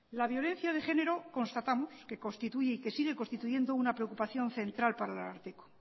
la violencia de género constatamos que constituye y sigue constituyendo una preocupación central para el ararteko